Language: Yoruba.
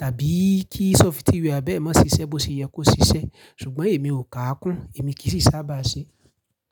Tàbí kí sófitíwà bẹ́ẹ̀ mọ́ ṣiṣẹ́ bó ṣe yẹ kó ṣiṣẹ́. Ṣùgbọ́n èmi ò kà á kún, èmi kì í sì sábà ṣe.